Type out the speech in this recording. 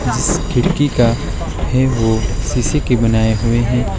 जिस खिड़की का है वह शीशे की बनाए हुए हैं।